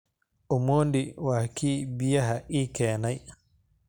Omondi waa kii biyaha ii keenay